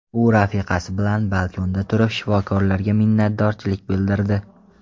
U rafiqasi bilan balkonda turib, shifokorlarga minnatdorchilik bildirdi.